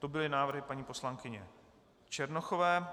To byly návrhy paní poslankyně Černochové.